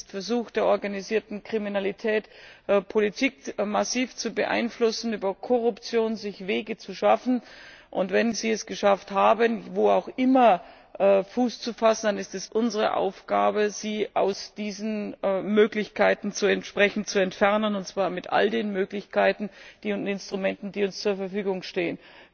Es ist der Versuch der organisierten Kriminalität, Politik massiv zu beeinflussen, sich über Korruption Wege zu schaffen und wenn sie es geschafft haben, wo auch immer Fuß zu fassen, dann ist es unsere Aufgabe, sie aus diesen Möglichkeiten entsprechend zu entfernen, und zwar mit all den Möglichkeiten und Instrumenten, die uns zur Verfügung stehen.